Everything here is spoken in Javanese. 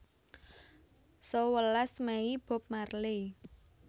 Sewelas Mei Bob Marley